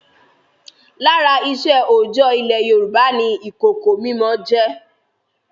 Lára iṣẹ́ òòjọ́ ilẹ̀ Yorùbá ni ìkòkò mímọ jẹ́.